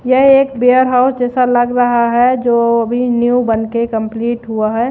यह एक warehouse जैसा लग रहा है जो अभी न्यू बन के कंप्लीट हुआ है।